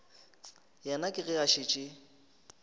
yena ke ge a šetše